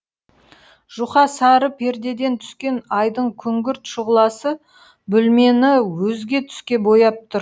жұқа сары пердеден түскен айдың күңгірт шұғыласы бөлмені өзге түске бояп тұр